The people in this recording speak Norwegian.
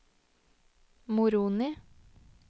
Moroni